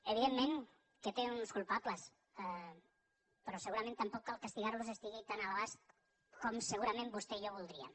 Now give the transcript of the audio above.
evidentment que té uns culpables però segurament tampoc castigar los estigui tan a l’abast com segurament vostè i jo voldríem